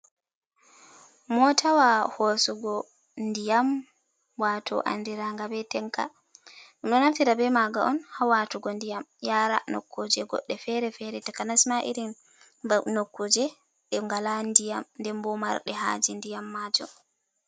Motawa hosuugo ndiyam, wato andiranga be tanka, ɗo naftira be maga on hawatugo ndiyam yara nokkuje godde fere fere, takanasma, irin nokkuje ɗe ngala diyam, denboo marɗe hajee ndiyam maajuum.